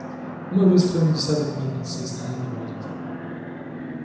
мы выстроим десяток мельниц если надо будет